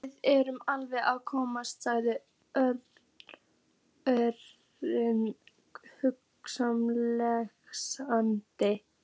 Við erum alveg að koma sagði Örn hughreystandi.